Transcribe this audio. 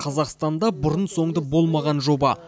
қазақстанда бұрын соңды болмаған жоба